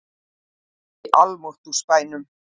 Í almáttugs bænum!